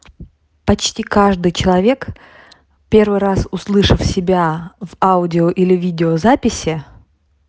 почти каждый человек первый раз услышал себя в аудио или видеозаписи